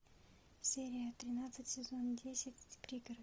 серия тринадцать сезон десять пригород